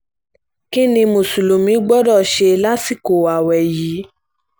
kín ní mùsùlùmí gbọ́dọ̀ ṣe lásìkò ààwẹ̀ yìí